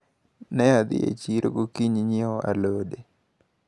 Ne adhi e chiro gokinyi nyiewo alode.